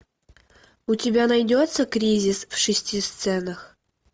у тебя найдется кризис в шести сценах